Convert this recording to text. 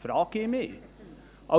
– Dies frage ich mich.